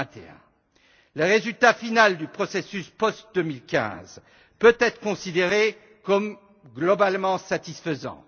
21. Le résultat final du processus post 2015 peut être considéré comme globalement satisfaisant.